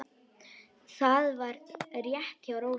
Það var rétt hjá Rósu.